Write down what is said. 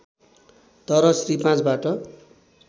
तर श्री ५ बाट